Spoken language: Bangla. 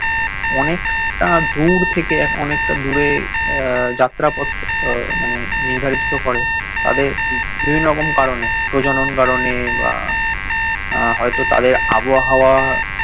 অনেকটা দূর থেকে অনেকটা দূরে আহ যাত্রাপথ মানে নির্ধারিত করে তাদের বিভিন্ন রকম কারণে প্রজনন কারণে বা হয়তো তাদের আবহাওয়া